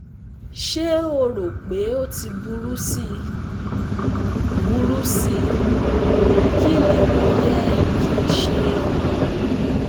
Ṣe o ro pe o ti buru sí i? buru sí i? Kini mo yẹ ki n ṣe?